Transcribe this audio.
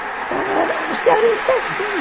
Então, era o cearense é assim.